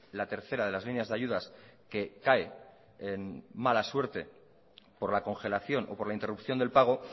la tercera de las líneas de ayudas que cae en mala suerte por la congelación o por la interrupción del pago